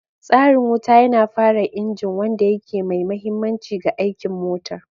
Tsarin wuta yana fara injin, wanda yake mai mahimmanci ga aikin motar.